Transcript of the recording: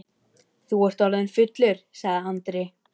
Þú ert orðinn fullur, sagði Andri.